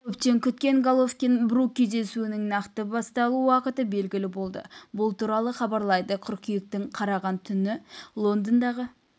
көптен күткен головкин-брук кездесуінің нақты басталу уақыты белгілі болды бұл туралы хабарлайды қыркүйектің қараған түні лондондағы